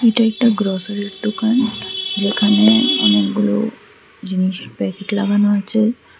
এটা একটা গ্রসারির দোকান যেখানে অনেকগুলো জিনিস প্যাকেট লাগানো আছে।